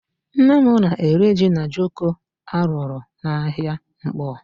Nne m na-ere jí na jioko a rụrụ n'ahịa Nkpọ.